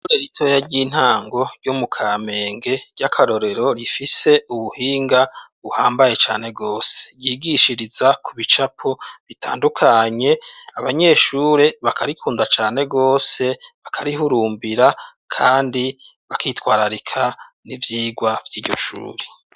ishure ritoya ry'intango ryo mukamenge ry'akarorero rifise ubuhinga buhambaye cane gose ryigishiriza ku bicapo bitandukanye abanyeshure bakarikunda cane gwose bakarihurumbira kandi bakitwararika n'ivyigwa vy'iryo shure.